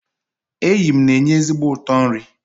eyịm na-enye ezigbo ụtọ nri